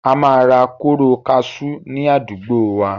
A máa ra kóró kaṣú ni àdúgbòo wa.